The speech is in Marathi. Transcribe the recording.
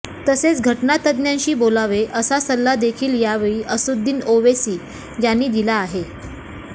तसेच घटना तज्ञ्जांशी बोलावे असा सल्ला देखील यावेळी असदुद्दीन ओवेसी यांनी दिला आहे